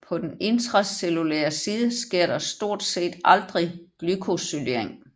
På den intracellulære side sker der stort set aldrig glykosylering